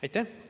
Aitäh!